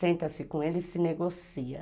senta-se com ele e se negocia.